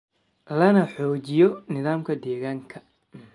lana xoojiyo nidaamka deegaanka.